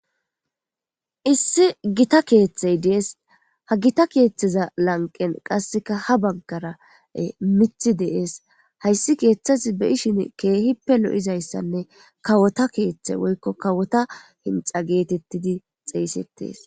Issi githa keeththey de7ees; ha githa keeththeza lanqqen qasseka ha baggara ee miththi de7ees; hayssi keeththazi be7ishini keehippe lo7izayssanne kawotha keeththey woykko kawotha hinxxa geetheththidi xeeseththees.